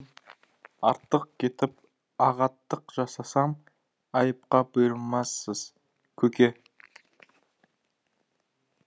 артық кетіп ағаттық жасасам айыпқа бұйырмассыз көке